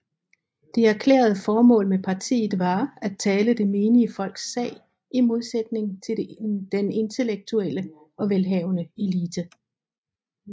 Det erklærede formål med partiet var at tale det menige folks sag i modsætning til den intellektuelle og velhavende elite